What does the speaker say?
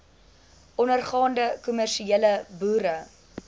ondergaande kommersiële boere